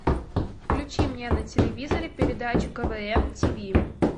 включи мне на телевизоре передачу квн тиви